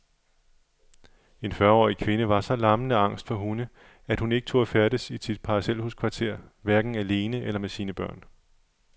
En fyrreårig kvinde var så lammende angst for hunde, at hun ikke turde færdes i sit parcelhuskvarter, hverken alene eller med sine børn.